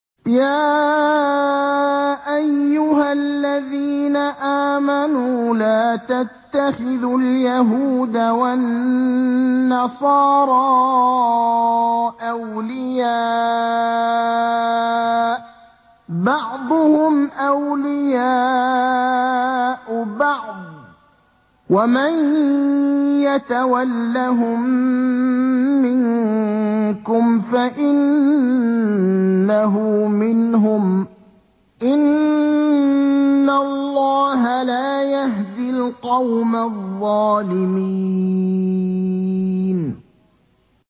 ۞ يَا أَيُّهَا الَّذِينَ آمَنُوا لَا تَتَّخِذُوا الْيَهُودَ وَالنَّصَارَىٰ أَوْلِيَاءَ ۘ بَعْضُهُمْ أَوْلِيَاءُ بَعْضٍ ۚ وَمَن يَتَوَلَّهُم مِّنكُمْ فَإِنَّهُ مِنْهُمْ ۗ إِنَّ اللَّهَ لَا يَهْدِي الْقَوْمَ الظَّالِمِينَ